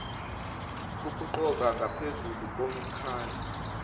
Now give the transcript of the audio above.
ukuqoka ngaphezulu komkhandlu